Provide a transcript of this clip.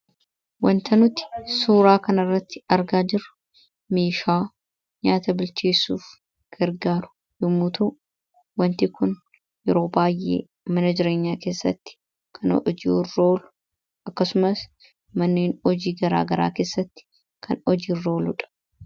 wanta nuti suuraa kanarratti argaa jirru meeshaa nyaata bilchiisuuf gargaaru yommuu ta'u wanti kun yeroo baayyee mana jireenyaa keessatti kan hojiirra ooludha akkasumas manneen hojii garaa garaa keessatti kan hojiirra ooludha.